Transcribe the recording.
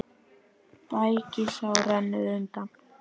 Bægisá rennur undan.